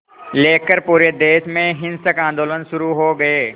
लेकर पूरे देश में हिंसक आंदोलन शुरू हो गए